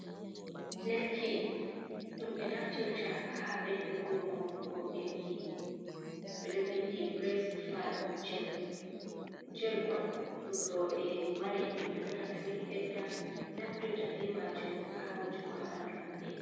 Lekti ɗum ɓe naftirta ha ɓeddugo maunugo enɗi, ɓeɗo vindi bras famin jel, jel on ɗum roɓe mari endi perpeton to yiɗi ɓedda naftirta be majum, ha wujugo habandu maɓɓe.